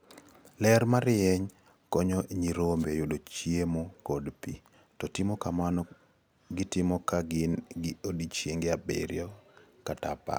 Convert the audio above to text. Ler marieny konyo nyirombe yudo chiemo kod pi, to timo kamano gitimo ka gin gi odiechienge abiriyo kata apar.